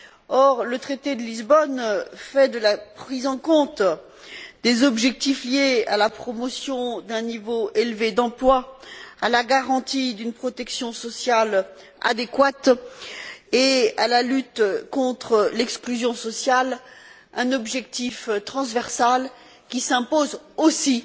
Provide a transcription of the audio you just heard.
Or, le traité de Lisbonne fait de la prise en considération des objectifs liés à la promotion d'un niveau élevé d'emploi, à la garantie d'une protection sociale adéquate et à la lutte contre l'exclusion sociale une finalité transversale qui s'impose aussi